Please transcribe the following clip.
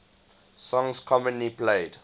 songs commonly played